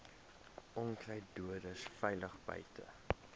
onkruiddoders veilig buite